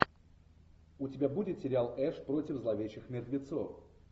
у тебя будет сериал эш против зловещих мертвецов